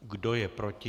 Kdo je proti?